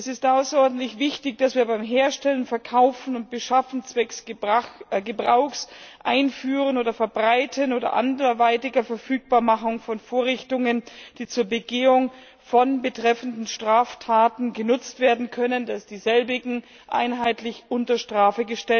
Es ist außerordentlich wichtig, dass wir das Herstellen, Verkaufen und Beschaffen zwecks Gebrauchs, Einführens oder Verbreitens oder anderweitiger Verfügbarmachung von Vorrichtungen, die zur Begehung von betreffenden Straftaten genutzt werden können, in unseren Mitgliedstaaten einheitlich unter Strafe